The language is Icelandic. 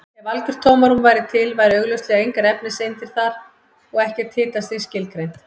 Ef algjört tómarúm væri til væru augljóslega engar efniseindir þar og ekkert hitastig skilgreint.